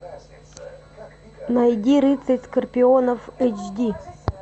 найди рыцарь скорпионов эйч ди